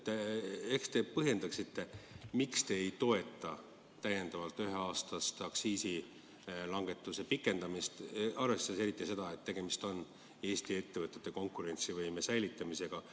Ehk te põhjendaksite, miks te ei toeta üheaastast aktsiisilangetuse pikendamist, eriti arvestades seda, et tegemist on Eesti ettevõtete konkurentsivõime säilitamisega.